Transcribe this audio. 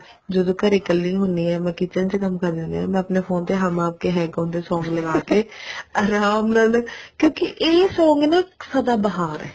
ਜਦੋਂ ਘਰੇ ਕੱਲੀ ਹੁੰਦੀ ਹਾਂ ਮੈਂ kitchen ਚ ਕੰਮ ਕਰਦੀ ਹੁੰਦੀ ਹਾਂ ਮੈਂ ਆਪਣੇ phone ਤੇ ਹਮ ਆਪਕੇ ਹੈਂ ਕੋਣ ਦੇ song ਲਗਾ ਕੇ ਆਰਾਮ ਨਾਲ ਕਿਉਂਕਿ ਇਹ song ਨਾ ਸਦਾ ਬਹਾਰ ਨੇ